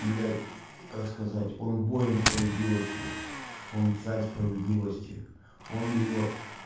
блядь как сказать он воин справедливости он царь справедливости он её